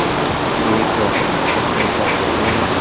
एक वॉटरफॉल का फोटो है।